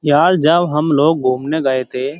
याल जाल हम लोग घुमने गए थे।